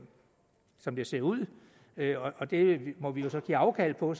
som det ser ud og det må vi jo så give afkald på